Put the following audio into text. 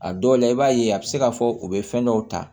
A dɔw la i b'a ye a bɛ se k'a fɔ u bɛ fɛn dɔw ta